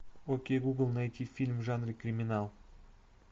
окей гугл найти фильм в жанре криминал